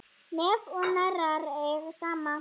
Nef og hnerrar eiga saman.